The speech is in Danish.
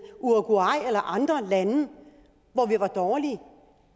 uruguay eller andre lande og var dårlige